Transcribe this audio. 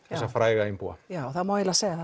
þessa fræga einbúa já það má eiginlega segja